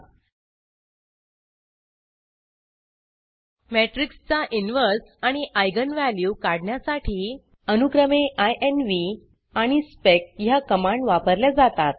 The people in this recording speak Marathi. matrixमेट्रिक्स चा inverseइनवर्स आणि आयजेन इगन व्हॅल्यू काढण्यासाठी अनुक्रमे इन्व्ह आणि स्पेक ह्या कमांड वापरल्या जातात